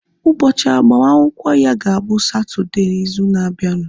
Ụbọchị agbamakwụkwọ ya ga-abụ na Satọdee izu na abianu